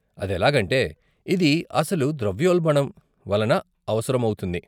అదెలాగంటే, ఇది అసలు ద్రవ్యోల్బణం వలన అవసరమౌతుంది.